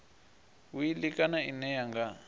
wili kana ine ya nga